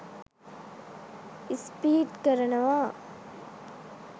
Speedy කරනවා.